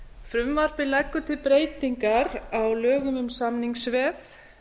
frumvarpið leggur til breytingar á lögum um samningsveð